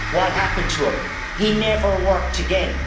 What happened to him? He never worked again.